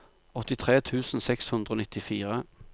åttitre tusen seks hundre og nittifire